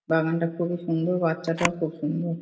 বাগান টা খুবই সুন্দর । বাচ্চা টাও খুব সুন্দর ।